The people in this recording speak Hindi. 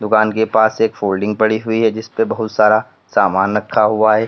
दुकान के पास एक फोल्डिंग पड़ी हुई है जिसपे बहुत सारा सामान रखा हुआ है।